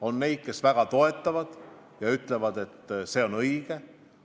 On neid, kes väga toetavad ja ütlevad, et see on õige.